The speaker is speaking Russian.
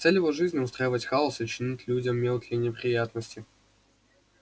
цель его жизни устраивать хаос и чинить людям мелкие неприятности